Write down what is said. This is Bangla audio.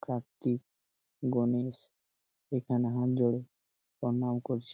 কার্তিক গণেশ এখানে হাত জড়ো প্রণাম করছে।